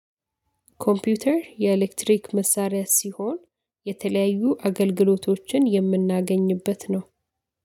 ኮምፒውተር የኤሌክትሪክ መሳሪያ ሲሆን የተለያዩ አገልግሎቶችን የምናገኝበት ነው